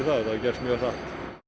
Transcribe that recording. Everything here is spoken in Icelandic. það hafi gerst mjög hratt